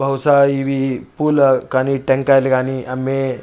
బహుశా ఇది పులా కానీ టెంకాయలు కానీ అమ్మే--